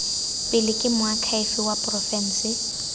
pele ke moakhaefe wa porofense